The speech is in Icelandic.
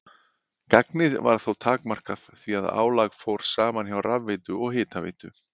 Gagnið var þó takmarkað því að álag fór saman hjá rafveitu og hitaveitu.